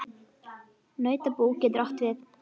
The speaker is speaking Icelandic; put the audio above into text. Nautabú getur átt við